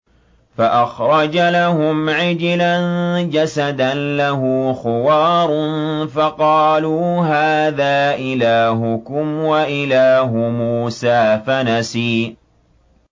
فَأَخْرَجَ لَهُمْ عِجْلًا جَسَدًا لَّهُ خُوَارٌ فَقَالُوا هَٰذَا إِلَٰهُكُمْ وَإِلَٰهُ مُوسَىٰ فَنَسِيَ